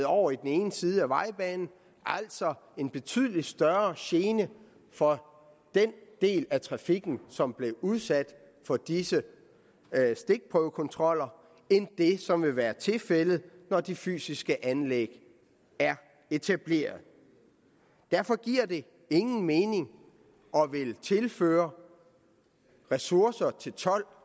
over i den ene side af vejbanen altså en betydelig større gene for den del af trafikken som er blevet udsat for disse stikprøvekontroller end det som vil være tilfældet når de fysiske anlæg er etableret derfor giver det ingen mening at ville tilføre ressourcer til